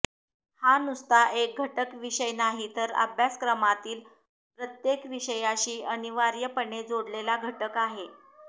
हा नुसता एक घटक विषय नाही तर अभ्यासक्रमांतील प्रत्येक विषयाशी अनिवार्यपणे जोडलेला घटक आहे